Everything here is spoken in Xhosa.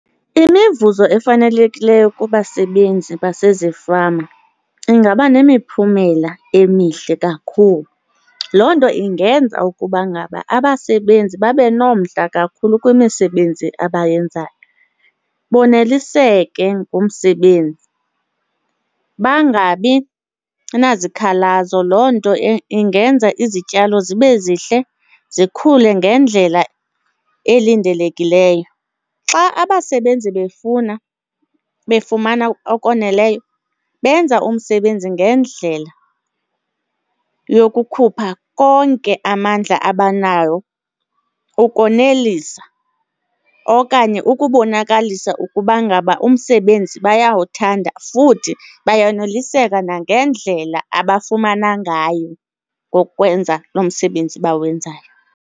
Imivuzo efanelekileyo kubasebenzi basezifama ingaba nemiphumela emihle kakhulu. Loo nto ingenza ukuba ngaba abasebenzi babe nomdla kakhulu kwimisebenzi abayenzayo, boneliseke ngumsebenzi bangabi nazikhalazo. Loo nto ingenza izityalo zibe zihle zikhule ngendlela elindelekileyo. Xa abasebenzi befuna befumana okoneleyo benza umsebenzi ngendlela yokukhupha konke amandla abanawo ukonelisa okanye ukubonakalisa ukuba ngaba umsebenzi bayawuthanda futhi bayonoliseke nangendlela abafumana ngayo ngokwenza lo msebenzi bawenzayo.